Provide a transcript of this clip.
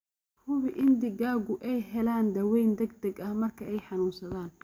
Hubi in digaaggu ay helaan daaweyn degdeg ah marka ay xanuunsadaan.